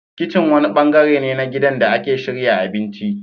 Kitchen wani bangare ne na gidan da ake shirya abinci.